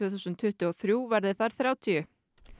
þúsund tuttugu og þrjú verði þær þrjátíu